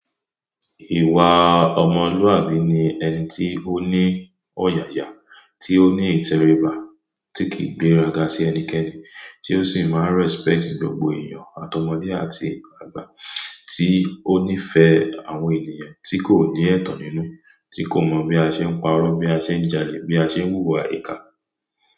Ìwà ọmọlúwàbí ni ẹni tí ó ní ọ̀yàyà, tí ó ní ìtẹríba, tí kìí gbéraga sí ẹnikẹni, tí ó sì máa respect gbogbo èèyàn, àtọmọdé àti àgbà, tí ó nífẹ̀ẹ́ àwọn ènìyàn tí kò ní ẹ̀tàn nínú, tí kò mọ̀ bí a ṣe ń pa'rọ́, bí a ṣe ń jalè, bí a ṣe ń wúwa íká.